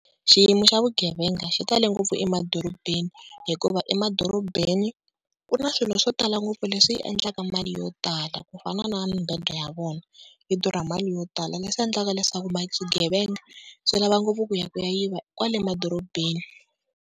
Xiyimo xa vugevenga xi tale ngopfu emadorobeni, hikuva emadorobeni ku na swilo swo tala ngopfu leswi endlaka mali yo tala, ku fana na mibedwa ya vona yi durha mali yo tala leswi endlaka leswaku swigevenga swi lava ngopfu ku ya ku ya yiva kwale madorobeni.